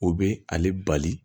O be ale bali